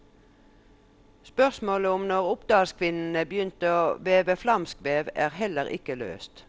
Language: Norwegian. Spørsmålet om når oppdalskvinnene begynte å veve flamskvev, er heller ikke løst.